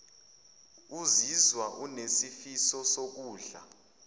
uzizwa unesifiso sokudla